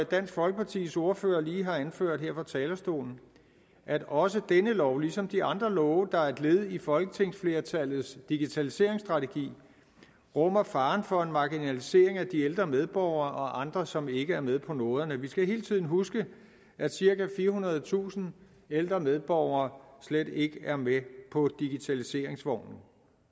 dansk folkepartis ordfører lige har anført her fra talerstolen at også denne lov ligesom de andre love der er et led i folketingsflertallets digitaliseringsstrategi rummer faren for en marginalisering af de ældre medborgere og andre som ikke er med på noderne vi skal hele tiden huske at cirka firehundredetusind ældre medborgere slet ikke er med på digitaliseringsvognen